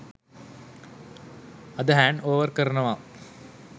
අද hand over කරනවා.